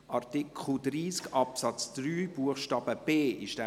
Wir stimmen nun über Art. 30 Absatz 3 Buchstabe c (neu) ab.